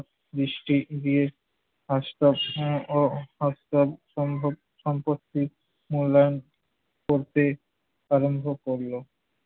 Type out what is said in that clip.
দৃষ্টি দিয়ে হম ও সম্ভব সম্পত্তির মূল্যায়ন করতে আরম্ভ করল।